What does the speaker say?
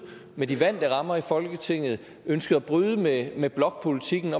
med de vante rammer i folketinget ønskede at bryde med med blokpolitikken